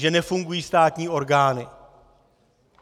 Že nefungují státní orgány.